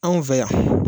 Anw fɛ yan